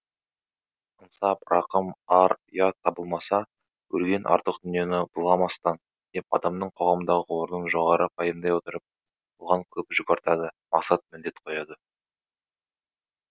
ынсап рақым ар ұят табылмаса өлген артық дүниені былғамастан деп адамның қоғамдағы орнын жоғары пайымдай отырып оған көп жүк артады мақсат міндет қояды